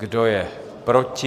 Kdo je proti?